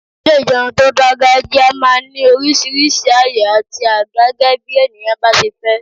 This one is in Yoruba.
Ilé ìjẹun tó dangajia máa ń ní oríṣiríṣi àyè àti àga gẹ́gẹ́bí ènìyàn bá ṣe fẹ́.